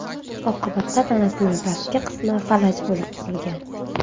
Oqibatda tanasining pastki qismi falaj bo‘lib qolgan.